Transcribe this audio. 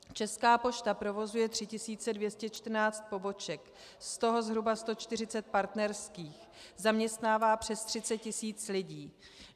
Česká pošta provozuje 3214 poboček, z toho zhruba 140 partnerských, zaměstnává přes 30 tisíc lidí.